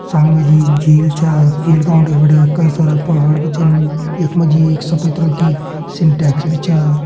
सामने जी झील छा झील का उंडे फंडे कई सारा पहाड़ भी छन यख मा जी एक सफ़ेद रंग की सिंटेक्स भी छा।